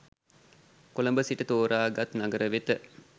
කොළඹ සිට තෝරාගත් නගර වෙත